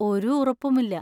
ഒരു ഉറപ്പുമില്ല.